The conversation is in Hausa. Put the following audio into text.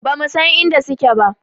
Ba mu san inda suke ba